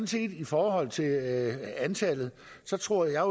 set i forhold til antallet tror jeg